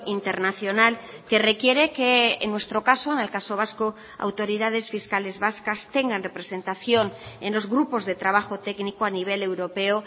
internacional que requiere que en nuestro caso en el caso vasco autoridades fiscales vascas tengan representación en los grupos de trabajo técnico a nivel europeo